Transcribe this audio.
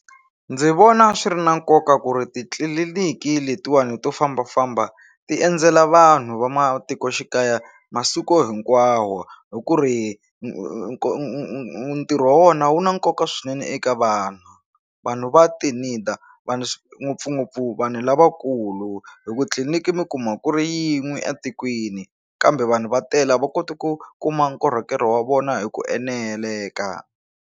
Ndzi vona swi ri na nkoka ku ri titliliniki letiwani to fambafamba ti endzela vanhu va matikoxikaya masiku hinkwawo hi ku ri ntirho wa vona wu na nkoka swinene eka vanhu vanhu va vanhu ngopfungopfu vanhu lavakulu hi ku tliliniki mi kuma ku ri yin'we etikweni kambe vanhu va tele a va koti ku kuma nkorhokeri wa vona hi ku eneleka.